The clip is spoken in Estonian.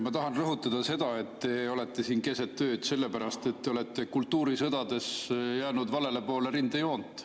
Ma tahan rõhutada seda, et te olete siin keset ööd sellepärast, et te olete kultuurisõdades jäänud valele poole rindejoont.